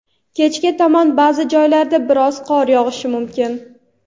kechga tomon ba’zi joylarda biroz qor yog‘ishi mumkin.